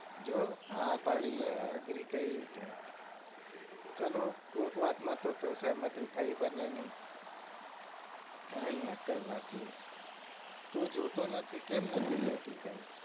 જો હા પાડી agree કર્યું તે ચલો કોક વાત માં તો સહમતી થઇ બંને ની કાઈ અક્કલ નથી તું જોતો નથી કેમ નથી જોઈતી કાઈ